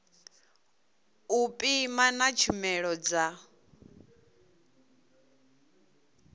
u pima na tshumelo dza